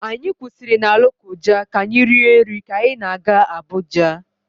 Anyị kwụsịrị na Lokoja ka anyị rie nri ka anyị na-aga Abuja.